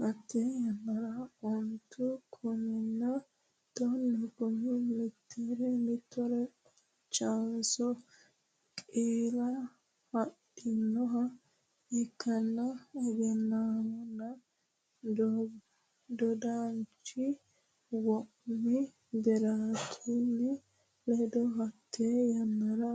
Hatte yannara ontu kuminna tonnu kumi meetire qolchansho qeelle adhinoha ikkinohu egennamino dodaanchi Waami Birraatuno ledo Hatte yannara